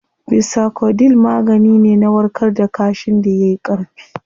Bisacodyl magani ne na warkar da kaashin da yayi Ƙarfi